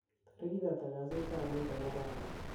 torigit ata kasit ab muut en arawani